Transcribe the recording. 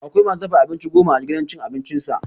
Akwai ma su dafa abinci goma a gidan cin abincinsa.